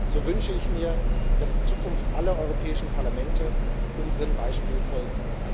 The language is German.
So wünsche ich mir, dass in Zukunft alle europäischen Parlamente unserem Beispiel folgen.